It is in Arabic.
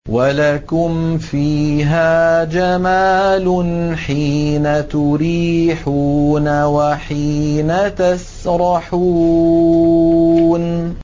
وَلَكُمْ فِيهَا جَمَالٌ حِينَ تُرِيحُونَ وَحِينَ تَسْرَحُونَ